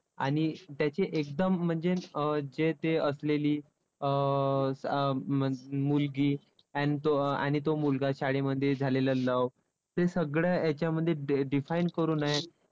आणि त्याचे एकदम म्हणजे अं जे ते असलेली अं मुलगी an तो आणि तो मुलगा शाळेमध्ये झालेलं love. ते सगळ्या हेच्यामध्ये define करून आहे.